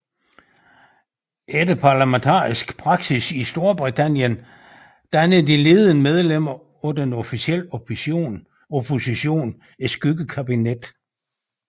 Efter parlamentarisk praksis i Storbritannien danner de ledende medlemmer af den officielle opposition et skyggekabinet